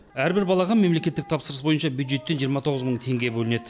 әрбір балаға мемлекеттік тапсырыс бойынша бюджеттен жиырма тоғыз мың теңге бөлінеді